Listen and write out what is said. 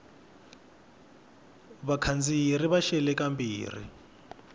vakhandziyi ri va xele kambirhi